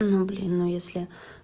ну блин ну если